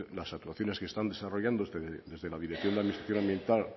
las actuaciones que están desarrollando desde la dirección de administración ambiental